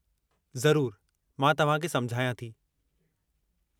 ज़रूर, मां तव्हां खे समुझायां थी।